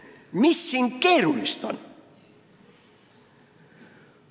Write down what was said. Mis siin keerulist on?